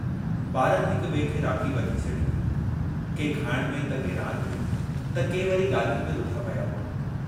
ॿारनि हिक ॿिए खे राखी ॿधी छॾी हुई, के खाइण में त के रांदि में त के वरी ॻाल्हियुनि में रुधा पिया हुआ।